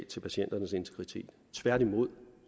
til patienternes integritet tværtimod